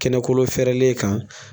Kɛnɛkolo fɛrɛlen kan